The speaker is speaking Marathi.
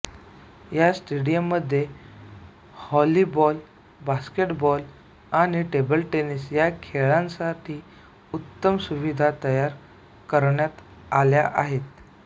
या स्टेडियममध्येच व्हॉलिबॉल बास्केटबॉल आणि टेबल टेनिस या खेळांसाठी उत्तम सुविधा तयार करण्यात आल्या आहेत